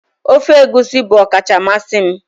ofe egusi bụ ọkacha mmasị m